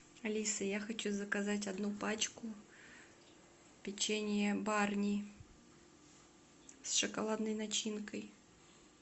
алиса я хочу заказать одну пачку печенья барни с шоколадной начинкой